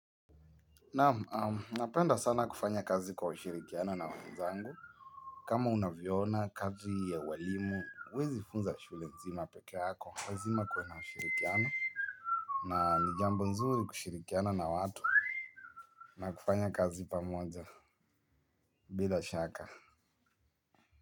Naam, napenda sana kufanya kazi kwa ushirikiano na wenzangu. Kama unavyo ona kazi ya walimu, huwezi funza shule mzima peke yako lazima kuwe na ushirikiano. Na ni jambo nzuri kushirikiana na watu. Na kufanya kazi pamoja, bila shaka.